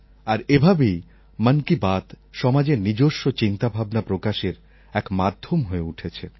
আর এভাবেই মন কি বাত সমাজের নিজস্ব চিন্তাভাবনা প্রকাশের এক মাধ্যম হয়ে উঠেছে